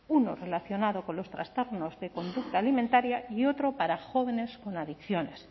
uno relacionado con los trastornos de conducta alimentaria y otro para jóvenes con adicciones